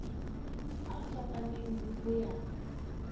a fapaneng le ho ya